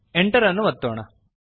enter ಅನ್ನು ಒತ್ತೋಣ